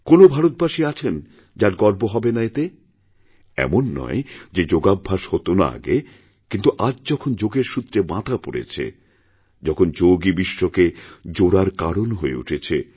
কোনও ভারতবাসী আছেন যার গর্ব হবে না এতে এমন নয় যেযোগাভ্যাস হত না আগে কিন্তু আজ যখন যোগের সূত্রে বাঁধা পড়েছে তখন যোগই বিশ্বকেজোড়ার কারণ হয়ে উঠেছে